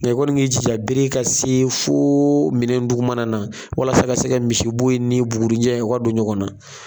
Nin kɔni' ki ji ja bere ka se fo minɛ dugumana na walasa ka se ka misibo ye ni bugurunjɛ o ka don ɲɔgɔn na.